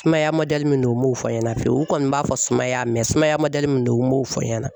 Sumaya mɔdɛli min don u m'o fɔ n ɲɛna few, u kɔni b'a fɔ sumaya sumaya mɔdɛli min do u m'o fɔ n ɲɛna.